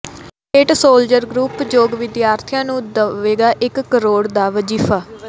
Saint soldier group ਯੋਗ ਵਿਦਿਆਰਥੀਆਂ ਨੂੰ ਦੇਵੇਗਾ ਇਕ ਕਰੋੜ ਦਾ ਵਜ਼ੀਫ਼ਾ